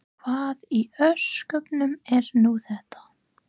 Hvað í ósköpunum er nú þetta?